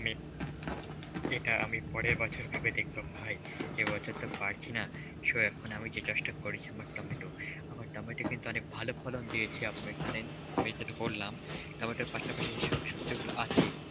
আমি এটা আমি পরের বছর ভেবে দেখবো ভাই, এবছর তো পারছিনা so এখন আমি যে চাষটা করেছি আমার টমেটো. আমার টমেটো কিন্তু অনেক ভালো ফলন দিয়েছে আপনি জানেন. আমি যেটুক বললাম টমেটোর পাশাপাশি সব সবজিগুলো আছে